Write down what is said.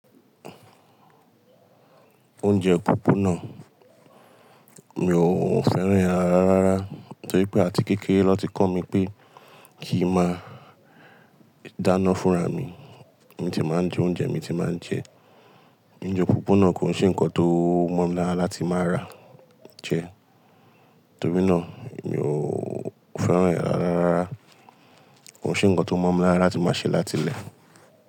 Oúnjẹ púpù náà, mi ò fẹ́ràn rẹ̀ rárá. Ra nitorí pé àti kékeré lọ́ ti kọ́ mi pé kí máa dáná fúnra mi. Mi ti máa ń jẹ oúnjẹ mi ti máa ń jẹ. Oúnjẹ púpù náà kò ṣe nnkan tó mọ̀ mi lára láti máa rà jẹ. Nítorí náà mi ò fẹ́ràn ẹ̀ rárá rara. Kò ṣe nnkan tó mọ̀ mi lára la tí máa ṣe láti lẹ̀